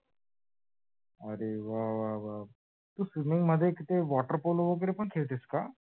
अरे वा वा वा! तू swimming मध्ये कधी water pool वैगरे पण खेळतेस का?